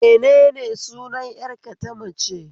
Menene sunan ƴar ka tamace?